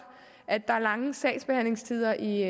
at der er lange sagsbehandlingstider i